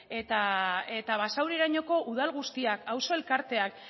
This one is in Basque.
eta basaurirainoko udal guztiak auzo elkarteak